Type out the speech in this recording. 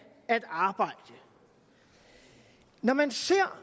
at arbejde når man ser